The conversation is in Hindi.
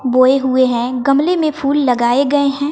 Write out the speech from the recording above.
बोए हुए हैं गमले में फूल लगाए गए हैं।